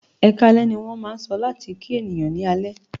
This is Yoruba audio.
"Ẹkáalẹ́" ní wọ́n máà ń sọ láti kí ènìyàn ní alẹ́.